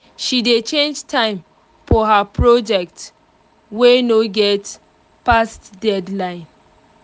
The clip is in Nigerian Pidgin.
she dey change time for her project wey no get fast deadline